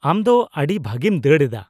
-ᱟᱢ ᱫᱚ ᱟᱹᱰᱤ ᱵᱷᱟᱹᱜᱤᱢ ᱫᱟᱹᱲ ᱮᱫᱟ ᱾